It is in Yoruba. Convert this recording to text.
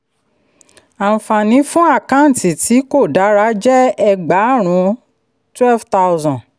àǹfààní fún àkáǹtì tí kò dára jẹ́ ẹgbàárun twelve thousand